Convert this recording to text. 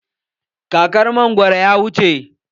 Kakar mangwaro ya wuce.